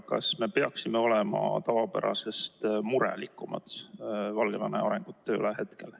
Kas me peaksime praegu olema tavapärasest murelikumad Valgevene arengusuundade pärast?